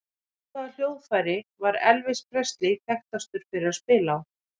Á hvaða hljóðfæri var Elvis Presley þekktastur fyrir að spila á?